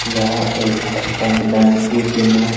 यह एक state bank ATM है।